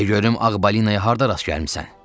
De görüm Ağ balinaya harda rast gəlmisən?